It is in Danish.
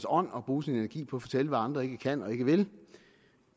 ånd at bruge sin energi på at fortælle hvad andre ikke kan og ikke vil